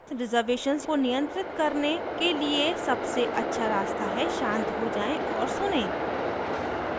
reservations को नियंत्रित करने के लिए सबसे अछा रास्ता है शांत हो जाएँ और सुनें